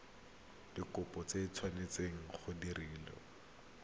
dikopo di tshwanetse go direlwa